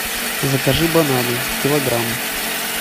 закажи бананы килограмм